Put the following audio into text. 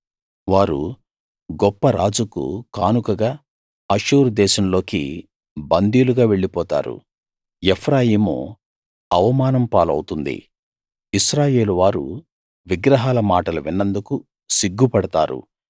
వారు గొప్ప రాజుకు కానుకగా అష్షూరు దేశంలోకి బందీలుగా వెళ్ళిపోతారు ఎఫ్రాయిము అవమానం పాలవుతుంది ఇశ్రాయేలు వారు విగ్రహాల మాటలు విన్నందుకు సిగ్గు పడతారు